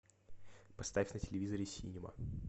поставь на телевизоре синема